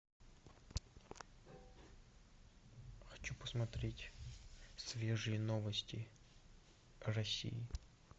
хочу посмотреть свежие новости россии